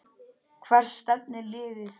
Hvert stefnir liðið?